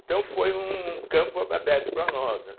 Então foi um campo abe aberto para nós, né.